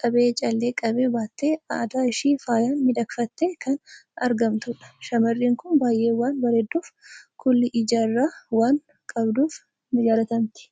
qabee callee qabe baattee, adda ishii faayaan miidhagfattee kan argamtudha. Shamarreen kun baay'ee waan bareedduuf, kuulii ija irraa waan qabduuf ni jaalatamti.